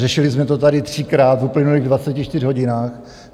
Řešili jsme to tady třikrát v uplynulých 24 hodinách.